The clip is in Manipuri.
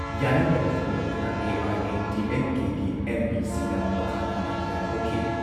ꯌꯥꯅꯤꯡꯗꯕ ꯐꯣꯡꯗꯣꯛꯇꯨꯅ ꯑꯦ.ꯑꯥꯏ.ꯑꯦ.ꯗꯤ.ꯑꯦꯝ.ꯀꯦꯒꯤ ꯑꯦꯝ.ꯄꯤꯁꯤꯡꯅ ꯃꯈꯥ ꯇꯥꯅ ꯏꯔꯥꯡ ꯍꯧꯈꯤ ꯫